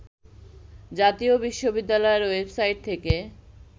জাতীয় বিশ্ববিদ্যালয়ের ওয়েবসাইট থেকে